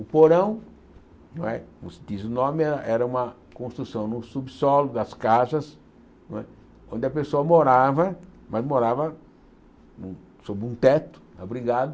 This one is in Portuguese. O porão não é, como se diz o nome, era uma construção no subsolo das casas não é, onde a pessoa morava, mas morava sob um teto, abrigado,